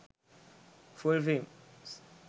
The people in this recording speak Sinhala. full films